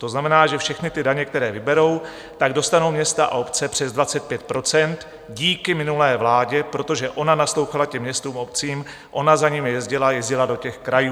To znamená, že všechny ty daně, které vyberou, tak dostanou města a obce přes 25 % díky minulé vládě, protože ona naslouchala těm městům a obcím, ona za nimi jezdila, jezdila do těch krajů."